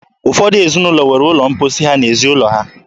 Ụfọdụ ezinụlọ nwere ụlọ mposi ha n'ezi ụlọ.